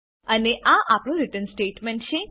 અને આ આપણુ રીટર્ન સ્ટેટમેંટ છે